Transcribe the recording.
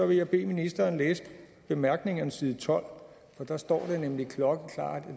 vil jeg bede ministeren læse bemærkningerne side tolv for der står nemlig klokkeklart at